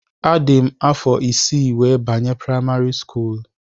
Adị m afọ isii wee banye primari skuulu